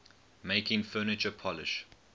making furniture polish